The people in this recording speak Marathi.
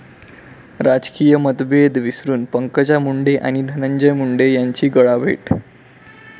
राजकीय मतभेद विसरून पंकजा मुंडे आणि धनंजय मुंडे यांची गळाभेट!